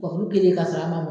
Ŋa kuru kelen k'a sɔrɔ a ma mɔ